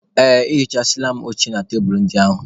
Ee, ehichasịala m oche na tebulu ndị ahụ.